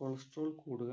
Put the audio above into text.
celastrol കൂടുക